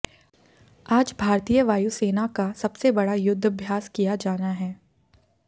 आज भारतीय वायु सेना का सबसे बड़ा युद्धभ्यास किया जाना है